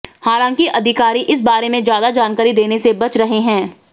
हालांकि अधिकारी इस बारे में ज्यादा जानकारी देने से बच रहे हैं